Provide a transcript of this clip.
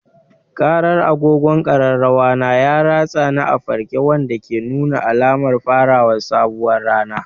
Ƙarar agogon ƙararrawa na ya ratsa ni a farke, wanda ke nuna alamar fara sabuwar rana.